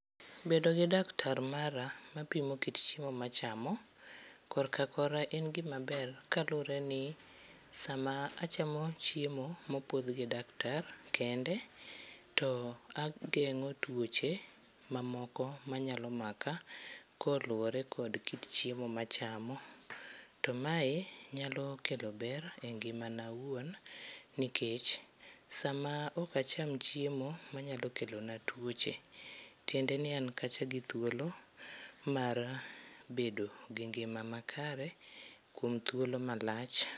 Bedo gi daktar mara mapimo kit chiemo machamo korka kora en gima ber kaluore ni sama achamo chiemo mopuodh gi daktar kende, to agengo tuoche mamoko ma nyalo maka koluore kod kit chiemo ma achamo. To mae nyalo kelo ber e ngimana owuon nikech sama ok acham chiemo manyalo kelo na tuoche tiende ni an kacha gi thuolo mar bedo gi ngima makare kuom thuolo malach